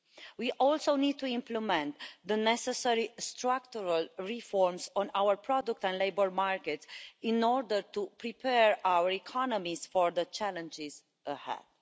We also need to implement the necessary structural reforms in our product and labour markets in order to prepare our economies for the challenges ahead.